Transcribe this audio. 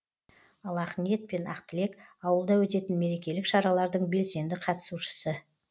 ал ақниет пен ақтілек ауылда өтетін мерекелік шаралардың белсенді қатысушы